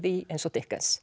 í eins og